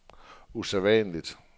usædvanligt